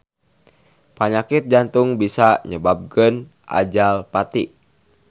Panyakit jantung bisa nyababkeun ajal pati.